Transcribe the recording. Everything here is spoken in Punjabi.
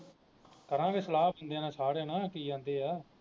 ਕਰਾਗੇ ਸਲਾਹ ਬੰਦਿਆਂ ਨਾਲ ਸਾਰਿਆਂ ਨਾਲ ਕੀ ਆਂਦਾ ਆ